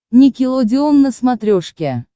никелодеон на смотрешке